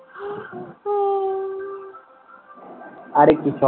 আরে কিছু